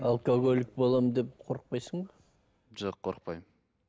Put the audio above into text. алкоголик боламын деп қорықпайсың ба жоқ қорықпаймын